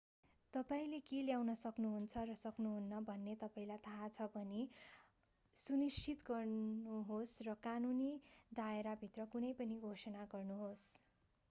तपाईंले के ल्याउन सक्नुहुन्छ र सक्नुहुन्न भन्ने तपाईंलाई थाहा छ भनी सुनिश्चित गर्नुहोस् र कानुनी दायराभित्र कुनै पनि घोषणा गर्नुहोस्